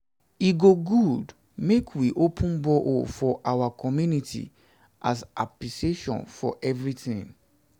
um e go good make we open borehole for our our community as appreciation for everything um